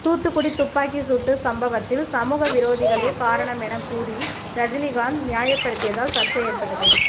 தூத்துக்குடி துப்பாக்கிச் சூட்டு சம்பவத்தில் சமூகவிரோதிகளே காரணம் என கூறி ரஜினிகாந்த் நியாயப்படுத்தியதால் சர்ச்சை ஏற்பட்டது